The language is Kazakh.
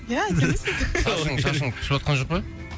ия әдемісіз шашың шашың түсіватқан жоқ па